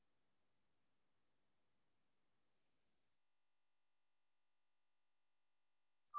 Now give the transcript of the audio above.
ஆஹ் okay mam நீங்க எந்த மாதிரி சொல்றீங்களோ அந்த மாதிரி உங்களுக்கு நாங்க செஞ்சி குடுத்துடுவோம் okay ங்ளா